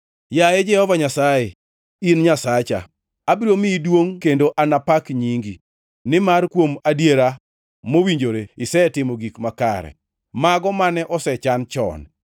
Yaye Jehova Nyasaye, in Nyasacha; abiro miyi duongʼ kendo anapak nyingi, nimar kuom adiera mowinjore isetimo gik makare, mago mane osechan chon.